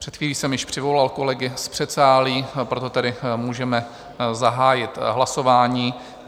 Před chvílí jsem již přivolal kolegy z předsálí, proto tedy můžeme zahájit hlasování.